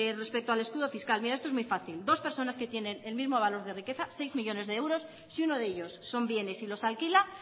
respecto al escudo fiscal mira esto es muy fácil dos personas que tienen el mismo valor de riqueza seis millónes de euros si uno de ellos son bienes y los alquila